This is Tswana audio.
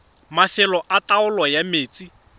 mafelo a taolo ya metsi